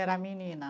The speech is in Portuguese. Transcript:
Era a menina?